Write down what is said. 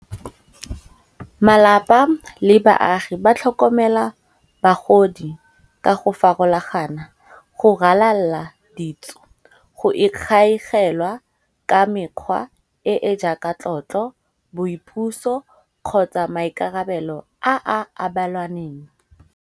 Malapa le baagi ba tlhokomela bagodi ka go farologana, go ralala ditso, go ikgaeselwa ka mekgwa e e jaaka tlotlo, boipuso kgotsa maikarabelo a a abelwaneng.